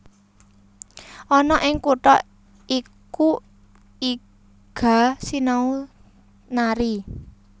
Ana ing kutha iku Iga sinau nari